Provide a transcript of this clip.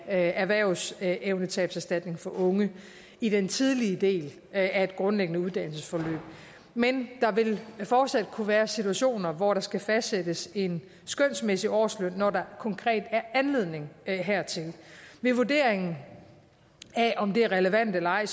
af erhvervsevnetabserstatning til unge i den tidlige del af grundlæggende uddannelsesforløb men der vil fortsat kunne være situationer hvor der skal fastsættes en skønsmæssig årsløn når der konkret er anledning hertil ved vurderingen af om det er relevant eller ej